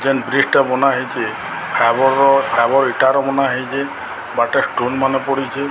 ଜେନ୍ ଫ୍ରିଜ ଟା ବନା ହେଇଛି ଫାଇବର ର ଫାବର୍ ଇଟାରେ ବନା ହେଇଚି ବାଟରେ ଷ୍ଟନ ମାନେ ପଡ଼ି।